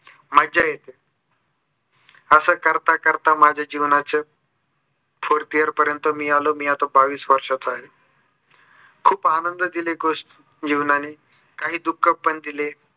मज्जा येते. असं करता करता माझ्या जीवनाचे four pair पर्यन्त आलो. मी आता बावीस वर्षाचा आहे. खूप आनंद दिले खुश जीवनाने काही दुक्ख पण दिले.